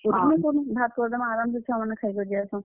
ଭାତ୍ କରିଦେମା ଆରାମ୍ ସେ ଛୁଆମନେ ଖାଇକରି ଯେସନ୍।